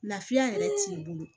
Lafiya yɛrɛ t'i bolo